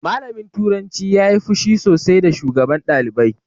Malamin turanci ya yi fushi sosai da shugaban ɗalibai